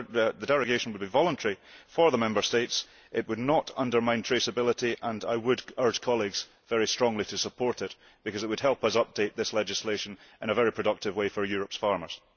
The derogation would be voluntary for the Member States, it would not undermine traceability and I would urge colleagues very strongly to support it, because it would help us update this legislation in a very productive way for Europe's farmers.